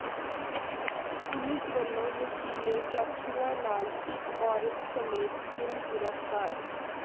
police ਵਲੋਂ ਨਸ਼ੀਲੇ ਕੈਪਸੂਲਾਂ ਨਾਲ ਇਕ ਔਰਤ ਸਮੇਤ ਤਿੰਨ ਗਿ੍ਫ਼ਤਾਰ